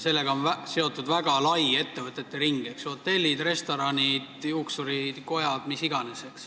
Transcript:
Sellega on seotud väga lai ettevõtete ring: hotellid, restoranid, juuksuritöökojad, mis iganes.